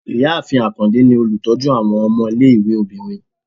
Ìyáàfín akande ni olutọju awọn ọmọ ìlé-ìwé obírín